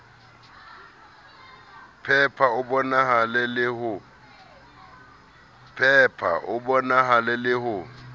pheha o bohale le ho